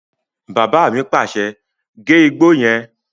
Bàbá mi pàṣẹ, "gé igbó yẹn!"